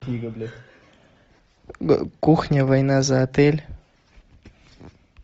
кухня война за отель